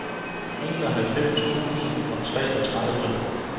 enoghalvfems tusind og treogtredive